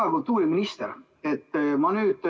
Hea kultuuriminister!